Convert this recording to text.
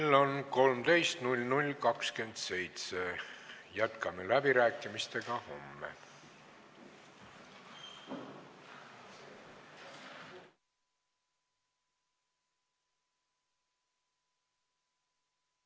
Kell on 13.00.27 Jätkame läbirääkimistega homme.